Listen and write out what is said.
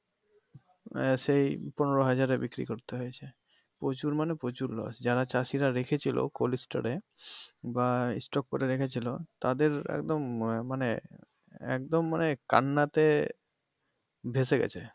আহ সেই পনেরো হাজারে বিক্রি করতে হয়েছে প্রচুর মানে প্রচুর loss যারা চাষীরা রেখেছিলো coldstore এ বা store করে রেখেছিলো তাদের একদম আহ মানে একদম মানে কান্নাতে ভেসে গেছে।